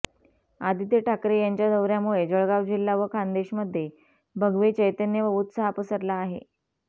आदित्य ठाकरे यांच्या दौऱ्यामुळे जळगाव जिल्हा व खान्देशमध्ये भगवे चैतन्य व उत्साह पसरला आहे